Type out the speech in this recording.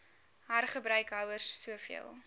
hergebruik houers soveel